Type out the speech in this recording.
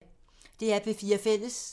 DR P4 Fælles